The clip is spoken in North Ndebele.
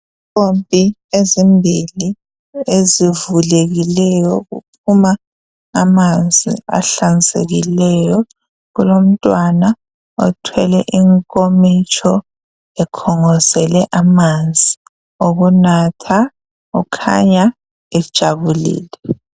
Impompi ezimbili ezivulekileyo kuphuma amanzi ahlanzekileyo kulomntwana othwele inkomitsho ekhongozele amanzi okunatha ukhanya ejabulile.